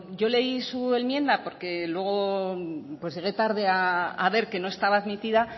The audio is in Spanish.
yo leí su enmienda porque luego llegué tarde a ver que no estaba admitida